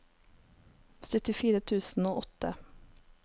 syttifire tusen og åtte